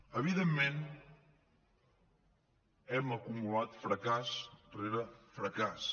evidentment hem acumulat fracàs rere fracàs